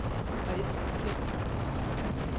Kristen Kjeldsen